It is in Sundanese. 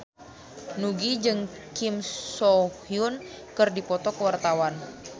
Nugie jeung Kim So Hyun keur dipoto ku wartawan